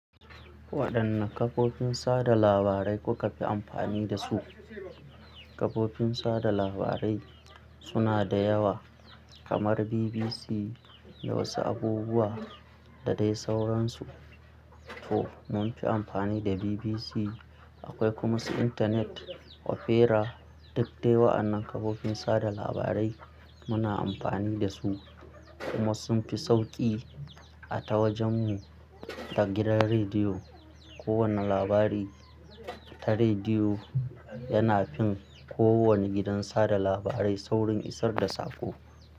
Waɗanne kafofin sada labarai kuka fi amfani da su? Kafofin sada labarai suna da yawa kamar BBC da wasu abubuwa da dai sauransu. To munfi amfani da BBC, akwai kuma su intanet, opera duk dai wa'annan kafofin sada labarai muna amfani da su kuma sun fi sauƙi a ta wajen mu. Da gidan rediyo, ko wanne labari ta rediyo yana fin ko wanne gidan sada labarai saurin isar da saƙo.